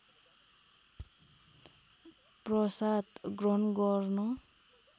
प्रसाद ग्रहण गर्न